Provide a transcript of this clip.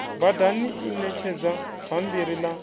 badani i ṋetshedza bammbiri ḽa